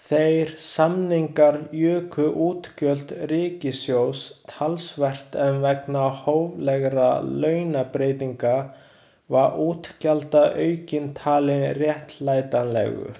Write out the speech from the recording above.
Þeir samningar juku útgjöld ríkissjóðs talsvert en vegna hóflegra launabreytinga var útgjaldaaukinn talinn réttlætanlegur.